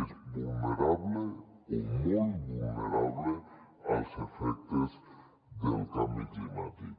és vulnerable o molt vulnerable als efectes del canvi climàtic